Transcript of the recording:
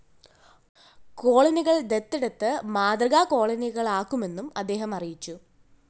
കോളനികള്‍ ദത്തെടുത്ത് മാതൃകാ കോളനികളാക്കുമെന്നും അദ്ദേഹം അറിയിച്ചു